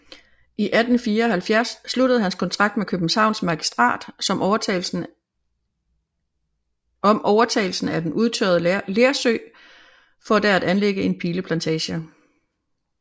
I 1874 sluttede han kontrakt med Københavns Magistrat om overtagelsen af den udtørrede Lersø for der at anlægge en pileplantage